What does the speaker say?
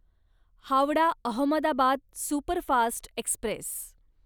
Howrah Ahmedabad superfast Express